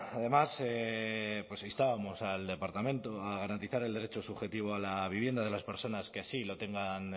además instábamos al departamento a garantizar el derecho subjetivo a la vivienda de las personas que así lo tengan